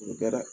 O tɛ dɛ